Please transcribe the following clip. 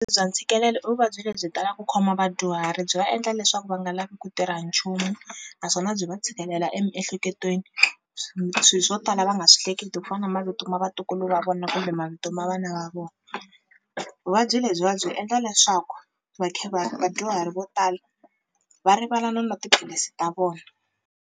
Bya ntshikelelo i vuvabyi lebyi talaku ku khoma vadyuhari byi va endla leswaku va nga lavi ku tirha nchumu, naswona byi va tshikelela emiehleketweni swi swo tala va nga swi hleketi ku fana mavito ma vatukulu va vona kumbe mavito ma vana va vona, vuvabyi lebyiwa byi endla leswaku va vadyuhari vo tala va rivala no nwa tiphilisi ta vona.